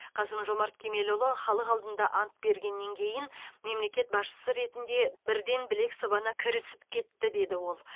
қасым жомарт кемелұлы халық алдында ант бергеннен кейін мемлекет басшысы ретінде бірден білек сыбана кірісіп кетті деді ол